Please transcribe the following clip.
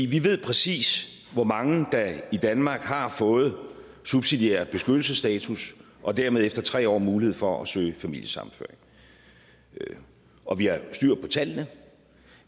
vi ved præcis hvor mange der i danmark har fået subsidiær beskyttelsesstatus og dermed efter tre år har mulighed for at søge familiesammenføring og vi har styr på tallene